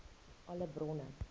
alle bronne